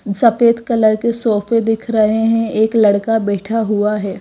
सफेद कलर के सोफे दिख रहे है एक लड़का बैठा हुआ है।